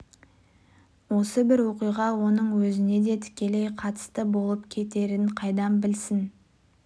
осы бір оқиға оның өзіне де тікелей қатысты болып кетерін қайдан білсін